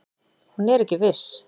Hún er ekki viss.